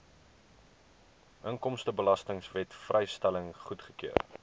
inkomstebelastingwet vrystelling goedgekeur